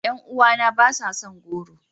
Yan uwana ba sa son goro.